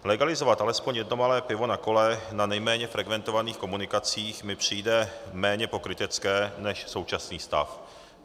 Legalizovat alespoň jedno malé pivo na kole na nejméně frekventovaných komunikacích mi přijde méně pokrytecké než současný stav.